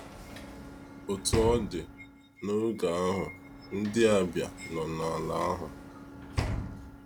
Otú ọ dị, “n’oge ahụ, ndị Abịa nọ n’ala ahụ.”